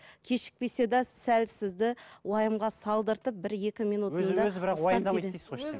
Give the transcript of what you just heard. кешікпесе де сәл сізді уайымға салдыртып бір екі минут өзі бірақ уайымдамайды дейсіз ғой